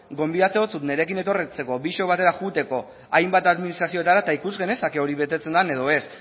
gonbidatzen zaitut nirekin etortzeko biok batera joateko hainbat administrazioetara eta ikus genezake hori betetzen dan edo ez